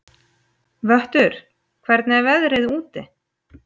Vöttur, hvernig er veðrið úti?